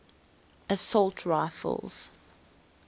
assault rifles